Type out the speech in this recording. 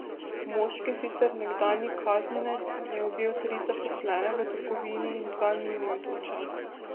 Moški, sicer nekdanji kaznjenec, je ubil tri zaposlene v trgovini in dva mimoidoča.